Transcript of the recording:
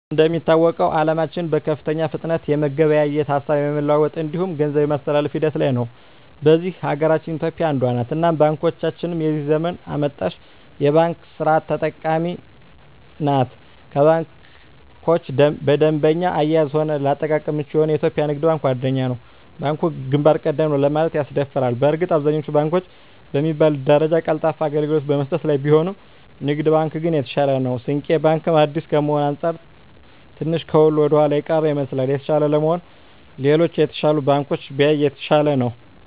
እንደሚታወቀዉ አለማችን በከፍተኛ ፍጥነት የመገበያየት፣ ሀሳብ የመለዋወጥ እንዲሁም ገንዘብ የማስተላፍ ሂደት ላይ ነዉ። በዚህ ሀገራችን ኢትዮጵያ አንዷ ነት እናም ባንኮቻችንም የዚህ ዘመን አመጣሽ የባንክ ስርት ተጠቃሚ ናት ከባንኮች በደንበኛ አያያዝም ሆነ ለአጠቃቀም ምቹ የሆነዉ የኢትዮጵያ ንግድ ባንክ ዋነኛዉ ነዉ። ባንኩ ግንባር ቀደም ነዉ ለማለትም ያስደፍራል በእርግጥ አብዛኛወቹ ባንኮች በሚባል ደረጃ ቀልጣፋ አገልግሎት በመስጠት ላይ ቢሆኑም ንግድ ባንክ ግን የተሻለ ነዉ። ስንቄ ባንክ አዲስ ከመሆኑ አንፃር ትንሽ ከሁሉ ወደኋላ የቀረ ይመስላል። የተሻለ ለመሆን ሌሎች የተሻሉ ባንኮችን ቢያይ የተሻለ ነዉ።